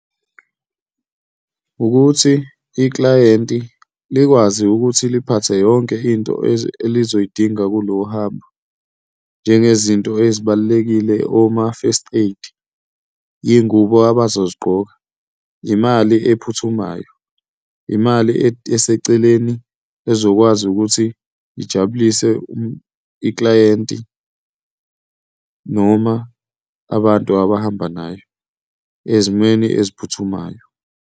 Ukuthi iklayenti likwazi ukuthi liphathe yonke into elizoyidinga kulo hambo, njengezinto ezibalulekile, oma-first aid, iy'ngubo abazozigqoka, imali ephuthumayo, imali eseceleni ezokwazi ukuthi ijabulise iklayenti noma abantu abahamba nayo ezimweni eziphuthumayo.